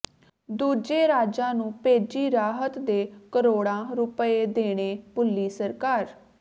ਦੂਜੇ ਰਾਜਾਂ ਨੂੰ ਭੇਜੀ ਰਾਹਤ ਦੇ ਕਰੋੜਾਂ ਰੁਪਏ ਦੇਣੇ ਭੁੱਲੀ ਸਰਕਾਰ